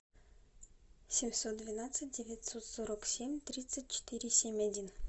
семьсот двенадцать девятьсот сорок семь тридцать четыре семь один